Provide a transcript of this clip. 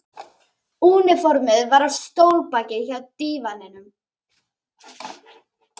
Úniformið var á stólbaki hjá dívaninum.